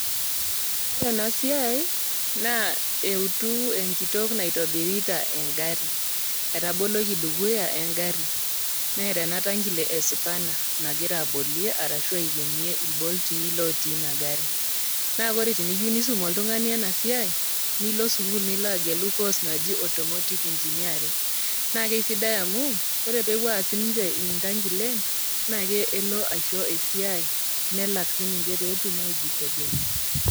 ore ena siai naaa eutu enkitok naitobirita engarri etaboloki dukuya engarri neeta ena tankile e spanner nagira abolie arashu aikenie ilbolti lotii ina garri naa kore teniyieu nisum oltung'ani ena siai nilo sukul nilo agelu course naji automotive engineering naa keisidai amu ore pepuo aas sininche intankilen naa kelo aisho esiai nelak sininche petum aijitegemea.